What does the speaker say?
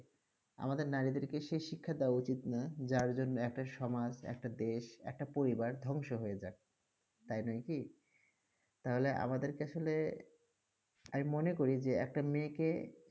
আমাদের নারীদেরকে সেই শিক্ষা দেওয়া উচিত না যার জন্যে একটা সমাজ, একটা দেশ, একটা পরিবার ধ্বংস হয়ে যাক, তাই নয় কি? তাহলে আমাদেরকে আসলে আমি মনে করি যে একটা মেয়েকে